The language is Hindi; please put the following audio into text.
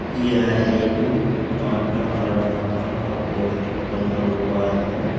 यह एक मंडा का ढाबा का पोस्टर लगा हुआ है।